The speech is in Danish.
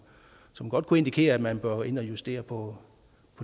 som godt kunne indikere at man bør ind og justere på